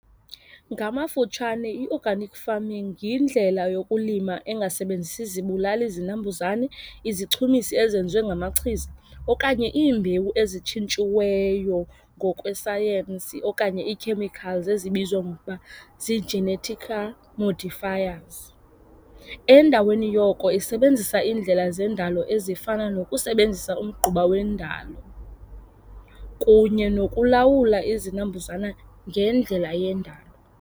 Ngamafutshane i-organic farming yindlela yokulima engasebenzisi zibulali izinambuzane, izichumisi ezenziwe ngamachiza okanye iimbewu ezitshintshiweyo ngokwesayensi okanye ii-chemicals ezibizwa ngokuba zii-genetical modifiers. Endaweni yoko isebenzisa iindlela zendalo ezifana nokusebenzisa umgquba wendalo kunye nokulawula izinambuzane ngendlela yendalo.